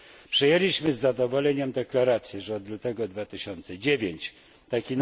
Przyjęliśmy z zadowoleniem deklarację, że od lutego 2009 r.